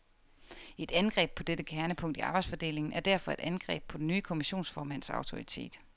Et angreb på dette kernepunkt i arbejdsfordelingen er derfor et angreb på den nye kommissionsformands autoritet.